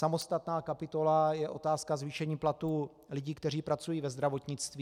Samostatná kapitola je otázka zvýšení platů lidí, kteří pracují ve zdravotnictví.